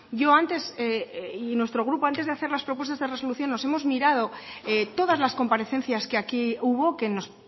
yo antes y nuestro grupo antes de hacer las propuestas de resolución nos hemos mirado todas las comparecencias que aquí hubo que nos